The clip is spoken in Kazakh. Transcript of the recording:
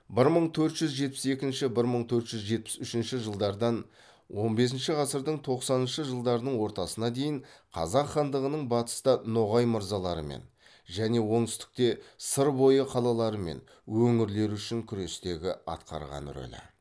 бір мың төрт жүз жетпіс екінші бір мың төрт жүз жетпіс үшінші жылдардан он бесінші ғасырдың тоқсаныншы жылдарының ортасына дейін қазақ хандығының батыста ноғай мырзаларымен және оңтүстікте сыр бойы қалалары мен өңірлері үшін күрестегі атқарған рөлі